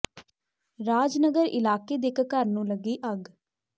ਰਾਜ ਨਗਰ ਇਲਾਕੇ ਦੇ ਇਕ ਘਰ ਨੂੰ ਲੱਗੀ ਅੱਗ